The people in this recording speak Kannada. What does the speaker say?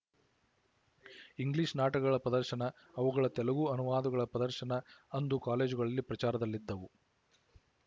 ಇಂಗ್ಲಿಶ ನಾಟಕಗಳ ಪ್ರದರ್ಶನ ಅವುಗಳ ತೆಲುಗು ಅನುವಾದಗಳ ಪ್ರದರ್ಶನ ಅಂದು ಕಾಲೇಜುಗಳಲ್ಲಿ ಪ್ರಚಾರದಲ್ಲಿದ್ದವು